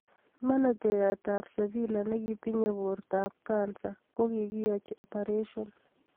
Manejiyaat ab sevila ne kiitinye bortaab kansa ko kikiiachi oparashion